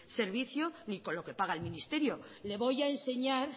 servicio ni con lo que paga el ministerio le voy a enseñar